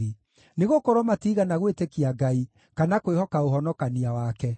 nĩgũkorwo matiigana gwĩtĩkia Ngai, kana kwĩhoka ũhonokania wake.